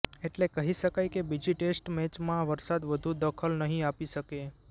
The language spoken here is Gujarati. એટલે કહી શકાય કે બીજી ટેસ્ટ મેચમાં વરસાદ વધુ દખલ નહીં આપી શકે